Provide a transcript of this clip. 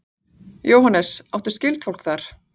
Jóhannes: Áttu skyldfólk þar?